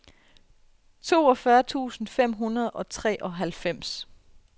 toogfyrre tusind fem hundrede og treoghalvfems